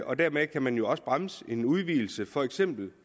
og dermed kan man jo også bremse en udvidelse af for eksempel